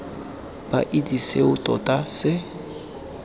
ba itse seo tota se